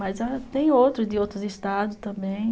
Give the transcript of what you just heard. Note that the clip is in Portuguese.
Mas tem outros de outros estados também.